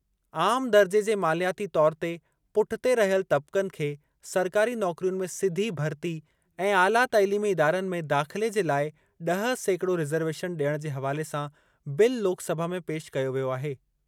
आम दर्जे जे मालियाती तौर ते पुठिते रहियल तब्क़नि खे सरकारी नौकरियुनि में सिधी भर्ती ऐं आला तइलीमी इदारनि में दाख़िले जे लाइ ड॒ह सेकिड़ो रिज़रवेशन डि॒यणु जे हवाले सां बिल लोकसभा में पेशि कयो वियो आहे।